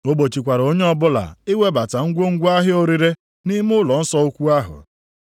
O gbochikwara onye ọbụla iwebata ngwongwo ahịa orire nʼime ụlọnsọ ukwu ahụ.